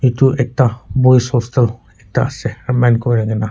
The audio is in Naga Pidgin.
etu ekta boys hostel ekta ase ka.